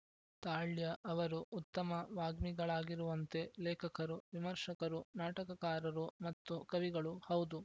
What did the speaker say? ತಾಳ್ಯ ಅವರು ಉತ್ತಮ ವಾಗ್ಮಿಗಳಾಗಿರುವಂತೆ ಲೇಖಕರು ವಿಮರ್ಶಕರು ನಾಟಕಕಾರರು ಮತ್ತು ಕವಿಗಳೂ ಹೌದು